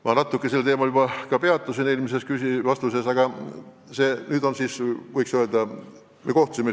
Ma natuke sel teemal eelmises vastuses juba peatusin.